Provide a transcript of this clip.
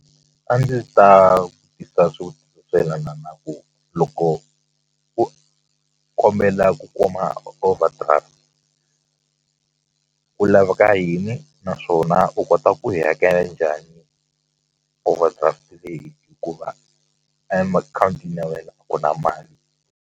A ndzi ta vutisa swo yelana na ku loko u kombela ku kuma overdraft ku laveka yini naswona u kota ku yi hakela njhani overdraft leyi hikuva ya wena a ku na mali.